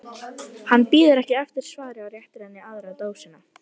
Hann bíður ekki eftir svari og réttir henni aðra dósina.